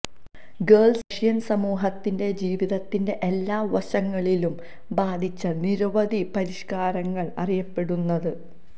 girls Russian സമൂഹത്തിന്റെ ജീവിതത്തിന്റെ എല്ലാ വശങ്ങളിലും ബാധിച്ച നിരവധി പരിഷ്കാരങ്ങൾ അറിയപ്പെടുന്നത്